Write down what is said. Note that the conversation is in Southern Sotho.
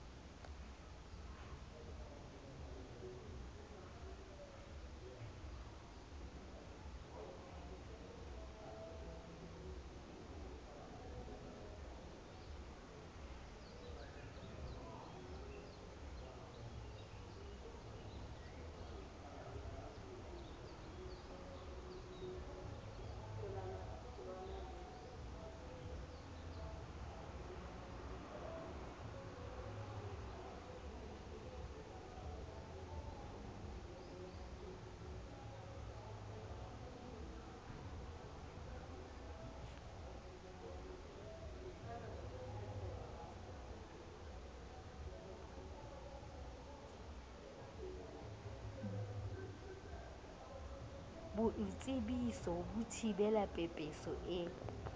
boitsebiso ho thibela pepeso e